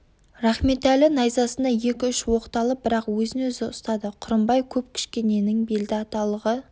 рахметәлі найзасына екі-үш оқталып бірақ өзін-өзі ұстады құрымбай көп кішкененің белді аталығы